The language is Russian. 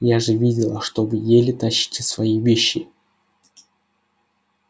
я же видела что вы еле тащите свои вещи